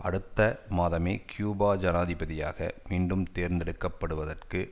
அடுத்த மாதமே கியூபா ஜனாதிபதியாக மீண்டும் தேர்ந்தெடுக்க படுவதற்கு